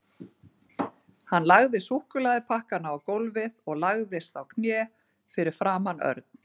Hann lagði súkkulaðipakkana á gólfið og lagðist á hnén fyrir framan Örn.